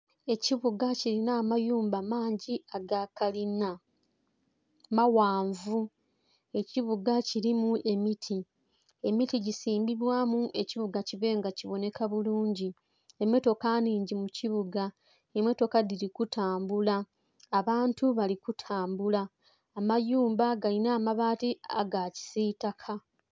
Ekibuga kilina amayumba mangi aga kalina, maghanvu, ekibuga kilimu emiti, emiti gisimbibwamu ekibuga kibe nga kibonheka bulungi. Emmotoka nnhingi mu kibuga, emmotoka dhili kutambula, abantu bali kutambula amayumba gali nh'amabaati agakisiitaka